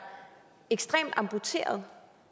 ekstremt amputeret